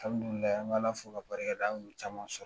an bɛ Ala fo k'a barika da an ye caman sɔrɔ